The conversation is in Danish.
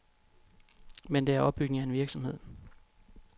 Men det er opbygning af en virksomhed.